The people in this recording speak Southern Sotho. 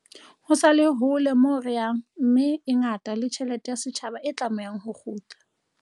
Ho sa le hole moo re yang mme e ngata le tjhelete ya setjhaba e tlamehang ho kgutla.